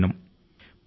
Shri P